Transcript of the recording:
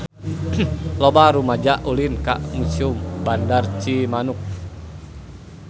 Loba rumaja ulin ka Museum Bandar Cimanuk